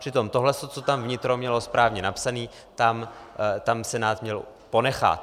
Přitom tohle, co tam vnitro mělo správně napsané, tam Senát měl ponechat.